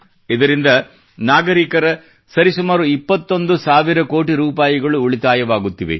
ಇದರಿಂದ ನಾಗರಿಕರ ಸರಿಸುಮಾರು 21 ಸಾವಿರ ಕೋಟಿ ರೂಪಾಯಿ ಉಳಿತಾಯವಾಗುತ್ತಿದೆ